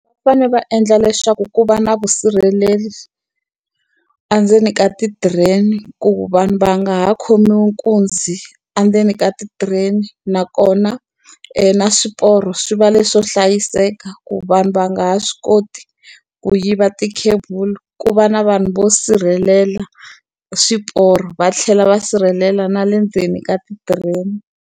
Va fanele va endla leswaku ku va na vusirhaleri endzeni ka ti-train-i ku vanhu va nga ha khomiwi nkunzi endzeni ka ti-train-i. Nakona, na swiporo swi va leswo hlayiseka ku vanhu va nga ha swi koti ku yiva ti-cable. Ku va na vanhu vo sirhelela swiporo va tlhela va sirhelela na le ndzeni ka ti-train-i.